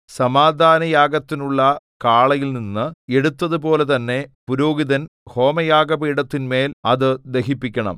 സമാധാനയാഗത്തിനുള്ള കാളയിൽനിന്ന് എടുത്തതുപോലെ തന്നെ പുരോഹിതൻ ഹോമയാഗപീഠത്തിന്മേൽ അത് ദഹിപ്പിക്കണം